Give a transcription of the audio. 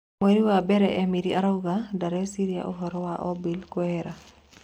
Mweri wa mbere Emiri Arauga "ndareciria" ũhoro wa Obil kũehera, .